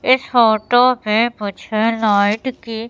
इस फोटो से मुझे लाइट की--